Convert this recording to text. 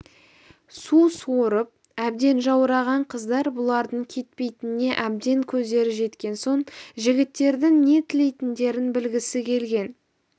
су сорып әбден жаураған қыздар бұлардың кетпейтініне әбден көздері жеткен соң жігіттердің не тілейтіндерін білгісі келген